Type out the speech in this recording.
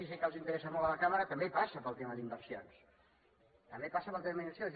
i sé que els interessa molt a la cambra també passa pel tema d’inversions també passa pel tema d’inversions